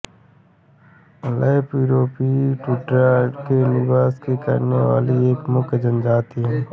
lap युरोपीय tundra में निवास में करने वाली एक प्रमुख जनजाति हैं